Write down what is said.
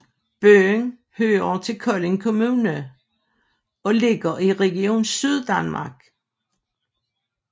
Byen hører til Kolding Kommune og ligger i Region Syddanmark